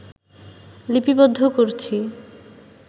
লিপিবদ্ধ করছি